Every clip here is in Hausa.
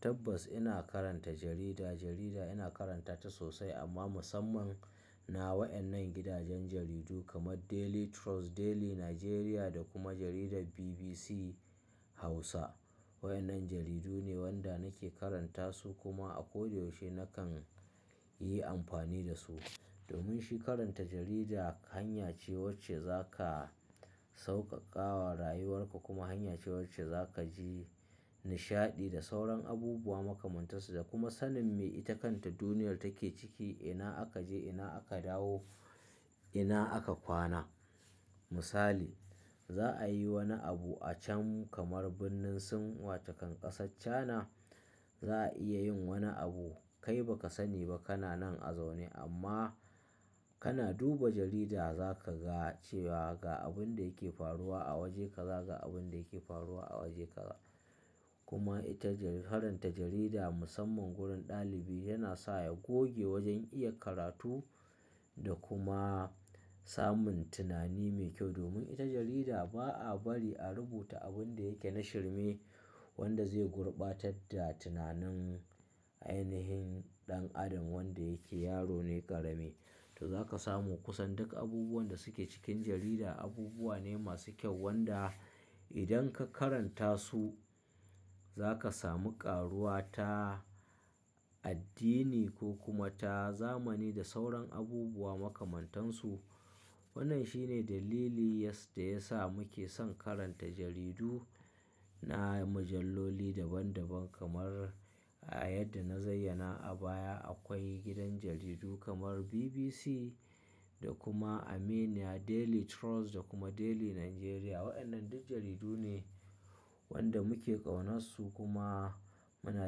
Tabbas ina karanta jarida. Jarida ina karanta ta sosai amma musamman na waɗannan gidajen jaridu kamar Daily Trust, Daily Nigeria da kuma jaridar BBC Hausa. Waɗannan jaridu ne wanda nake karanta su kuma a koda yaushe nakan yi amfani da su. Domin shi karanta jarida hanya ce wacce za ka sauƙaƙawa rayuwarka kuma hanya ce wacce za ka ji nishaɗi da sauran abubuwa makamantasu da kuma sanin me ite kanta duniya take ciki, ina aka je, ina aka dawo, ina aka kwana. Misali, za a yi wani abu a can kamar birnin Sin wata kan ƙasar china, za a iya yin wani abu kai ba ka sa ni ba kana nan a zaune amma kana duba jarida za ka ga cewa ga abin da yake faruwa a waje ka za, ga abin da yake faruwa a waje ka za. Kuma ita jarida, karanta jarida musamman wurin ɗalibi yana sa ya goge wajen iya karatu da kuma samun tunani mai kyau. Domin ita jarida ba a bari a rubuta abin da yake na shirme wanda zai gurbatar da tunanin ainihin ɗan adam wanda yake yaro ne ƙarami. To za ka samu kusan duk abubuwan da suke cikin jarida abubuwa ne masu kyau wanda idan ka karanta su za ka samu ƙaruwa ta addini ko kuma ta zamani da sauran abubuwa makamantan su. Wannan shine dalili ya sa da ya sa muke son karanta jaridu na mujalloli daban daban kamar a yadda na zaiyana a baya akwai gidan jaridu kamar BBC da kuma Aminiya, Daily Trust da kuma Daily Nigeria. Waɗannan duk jaridu ne wanda muke ƙaunasu kuma muna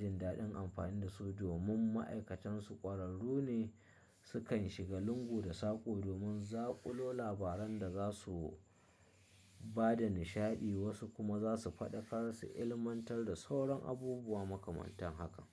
jin daɗin amfani da su domin ma'aikatansu ƙwararru ne. Su kan shiga lungu da sako domin zaƙulo labaran da za su ba da nishaɗi wasu kuma za su faɗakar su ilmantar da sauran abubuwa makamantan haka.